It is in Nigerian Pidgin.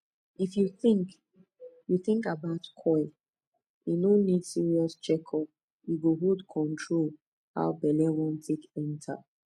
if you think you think about coil e no need serious check up e go hold control how belle wan take enter